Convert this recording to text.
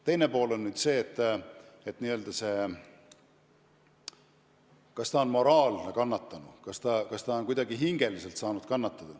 Teine pool on nüüd see, kas ta on moraalne kannatanu, kas ta on kuidagi hingeliselt saanud kannatada.